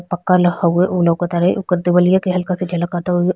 पक्का ल हउवे उ लोकतारे ओकर देवलिया के हल्का सा झलकतु --